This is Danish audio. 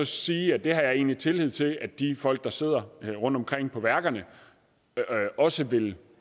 sige at det har jeg egentlig tillid til at de folk der sidder rundtomkring på værkerne også vil